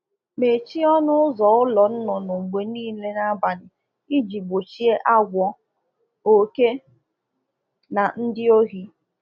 Na emechi ụlọ ọkụkọ na abali n'ile iji n'ile iji gbochie agwọ, oke n'akwa ndi ohi